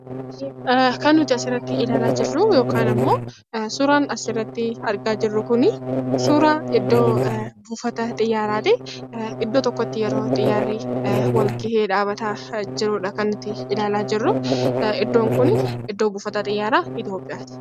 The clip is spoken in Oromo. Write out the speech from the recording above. Kan nuti asirratti ilaalaa jirruu, yookaan immoo suuraan asirratti argaa jirru kunii, suuraa iddoo buufata xiyyaaraa ti. Iddoo tokkotti yeroo xiyyaarri wal ga'ee dhaabbataa jiruu dha kan nuti ilaalaa jirru. Iddoon kun iddoo buufata xiyyaaraa Itoophiyaa ti.